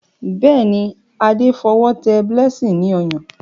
Béèni Ade f'owo té blessing ló Ọyàn.